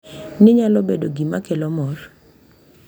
Ni nyalo bedo gima kelo mor.